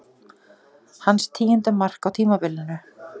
Hans tíunda mark á tímabilinu.